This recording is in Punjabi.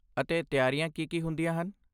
ਅਤੇ ਤਿਆਰੀਆਂ ਕੀ ਕੀ ਹੁੰਦੀਆਂ ਹਨ?